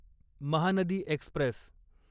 Mahanadi Express